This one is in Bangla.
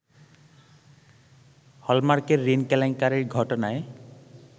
হলমার্কের ঋণ কেলেঙ্কারির ঘটনায়